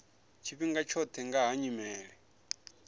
tshifhinga tshoṱhe nga ha nyimele